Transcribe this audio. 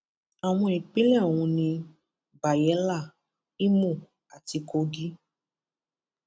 àwọn ìpínlẹ ọhún ni bayela imo àti kogi